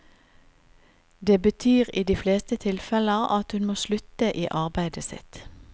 Det betyr i de fleste tilfeller at hun må slutte i arbeidet sitt.